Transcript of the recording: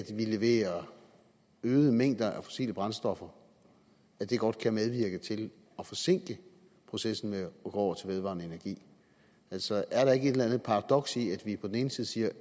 vi leverer øgede mængder af fossile brændstoffer godt kan medvirke til at forsinke processen med at gå over til vedvarende energi altså er der ikke et eller andet paradoks i at vi på den ene side siger at